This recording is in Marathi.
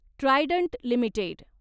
Trident limited